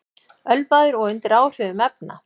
Ölvaður og undir áhrifum efna